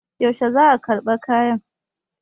yaushe za a karɓi kayan?